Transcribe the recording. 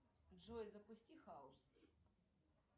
джой запусти хаус